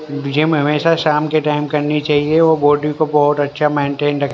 gym हमेशा शाम के टाइम करनी चाहिए वो बॉडी को बहोत अच्छा मेंटेन र--